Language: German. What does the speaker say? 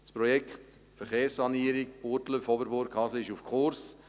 Das Projekt Verkehrssanierung Burgdorf-Oberburg-Hasle ist auf Kurs.